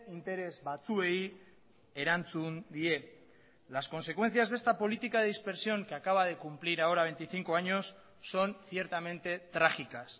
interes batzuei erantzun die las consecuencias de esta política de dispersión que acaba de cumplir ahora veinticinco años son ciertamente trágicas